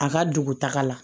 A ka dugutaga la